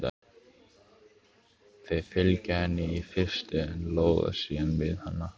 Þau fylgja henni í fyrstu en loða síðan við hana.